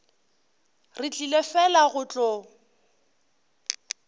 re tlile fela go tlo